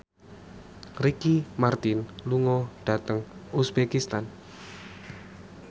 Ricky Martin lunga dhateng uzbekistan